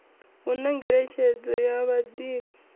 hu na ngeletshedzo ya vhadivhi